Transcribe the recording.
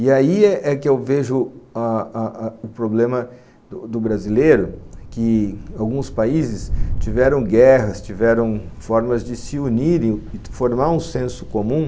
E aí é é é que eu vejo a a o problema do brasileiro, que alguns países tiveram guerras, tiveram formas de se unirem e formar um senso comum.